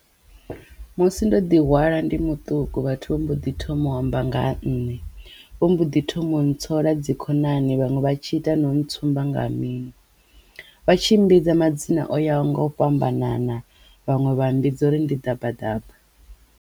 Musi ndo ḓihwala ndi muṱuku vhathu vha mbo ḓi thoma u amba nga ha nṋe vho mbo ḓi thoma u ntsola dzi khonani vhaṅwe vha tshi ita no ntsumbedza nga minwe vhatshi mmbidza madzina o yaho nga u fhambanana vhaṅwe vha mmbudza uri ndi ḓabaḓaba.